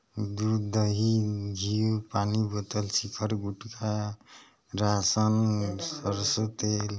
दूध दही घी पानी बॉटल सिखर गुटखा रासन सरसों तेल--